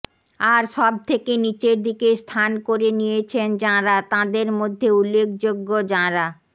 আর সবথেকে নিচের দিকে স্থান করে নিয়েছেন যাঁরা তাঁদের মধ্যে উল্লেখ্যযোগ্য যাঁরা